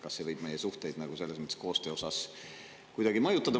Kas see võib meie suhteid koostöö mõttes kuidagi mõjutada?